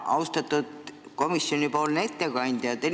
Austatud komisjonipoolne ettekandja!